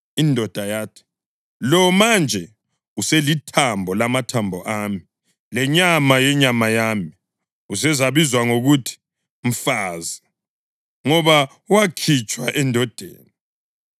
Indoda yathi, “Lo manje uselithambo lamathambo ami lenyama yenyama yami; usezabizwa ngokuthi ‘mfazi,’ ngoba wakhitshwa endodeni.”